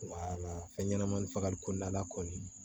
fɛn ɲɛnama fagali kɔnɔna